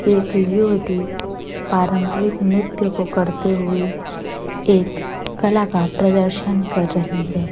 एक युवती पारंपरिक नृत्य को करते हुए एक कला का प्रदर्शन कर रही है।